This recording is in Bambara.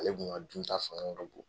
Ale tun ka dunta fanga ka bon